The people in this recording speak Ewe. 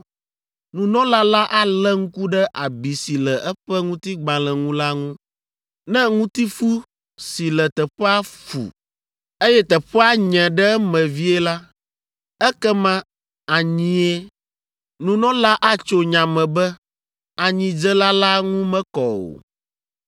Nunɔla la alé ŋku ɖe abi si le eƒe ŋutigbalẽ ŋu la ŋu. Ne ŋutifu si le teƒea fu, eye teƒea nye ɖe eme vie la, ekema anyie. Nunɔla la atso nya me be anyidzela la ŋu mekɔ o.